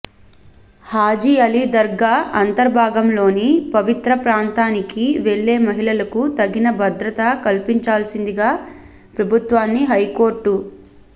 హజీ అలీ దర్గా అంతర్భాగంలోని పవిత్ర ప్రాంతానికి వెళ్లే మహిళలకు తగిన భద్రత కల్పించాల్సిందిగా ప్రభుత్వాన్ని హైకోర్టు